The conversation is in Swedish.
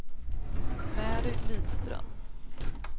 Mary Lidström